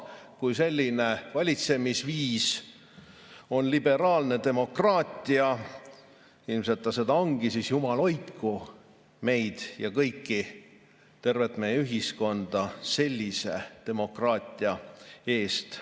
Kui selline valitsemisviis on liberaalne demokraatia – ilmselt ta seda ongi –, siis jumal hoidku meid ja kõiki, tervet meie ühiskonda sellise demokraatia eest.